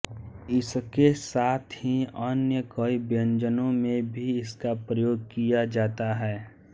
इसके साथ ही अन्य कई व्यंजनों में भी इसका प्रयोग किया जाता है